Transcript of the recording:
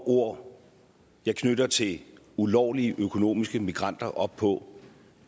ord jeg knytter til ulovlige økonomiske immigranter op på